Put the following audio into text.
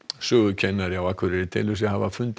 sögukennari á Akureyri telur sig hafa fundið